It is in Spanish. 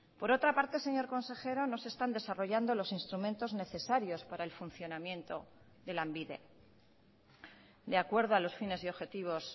por otra parte señor consejero no se están desarrollando los instrumentos necesarios para el funcionamiento de lanbide de acuerdo a los fines y objetivos